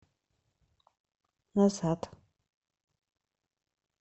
назад